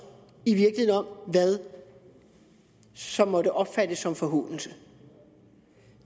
om hvad som måtte opfattes som en forhånelse